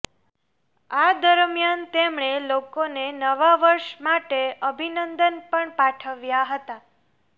આ દરમિયાન તેમણે લોકોને નવા વર્ષ માટે અભિનંદન પણ પાઠવ્યા હતા